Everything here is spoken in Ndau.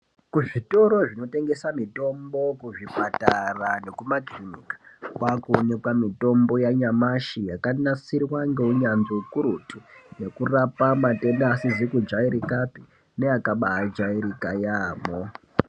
Kuzvitoro zvinotengesa mitombo, kuzvipatara nekumakirinika kwaakuonekwa mitombo yanyamashi yakanasirwa ngeunyanzvi hukurutu. Yekurapa matenda asizi kujairikapi neakabaajairika yaamho.